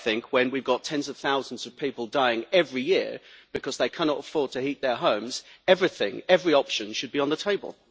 I think that when we have got tens of thousands of people dying every year because they cannot afford to heat their homes, then everything every option should be on the table.